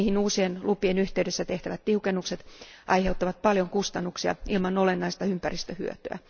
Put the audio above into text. Niihin uusien lupien yhteydessä tehtävät tiukennukset aiheuttavat paljon kustannuksia ilman olennaista ympäristöhyötyä.